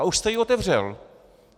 A už jste ji otevřel.